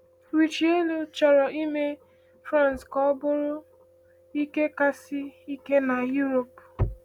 Richelieu chọrọ ime France ka ọ bụrụ ike kasị sie ike n’Europe.